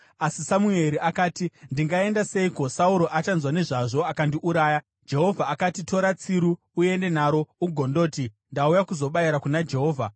Asi Samueri akati, “Ndingaenda seiko? Sauro achanzwa nezvazvo akandiuraya.” Jehovha akati, “Tora tsiru uende naro ugondoti, ‘Ndauya kuzobayira kuna Jehovha.’